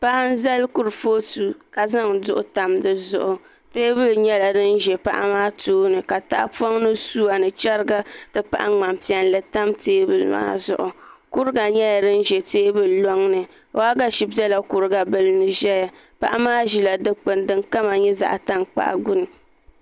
Paɣa n zali kurifooti ka zaŋ duɣu tam di zuɣu teebuli nyɛla din ʒɛ paɣa maa tooni katahapoŋ ni suwa ni chɛriga ti pahi ŋmani piɛlli tam teebuli maa zuɣu kuriga nyɛla din ʒɛ teebuli loŋni waagashe nyɛla din bɛ kuriga bili ni ʒɛya paɣa maa ʒila dikpuni din kama nyɛ zaɣ tankpaɣu gbuni